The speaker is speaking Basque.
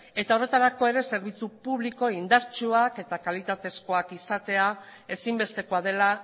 eta horretarako ere zerbitzu publiko indartsuak eta kalitatezkoak izatea ezinbestekoa dela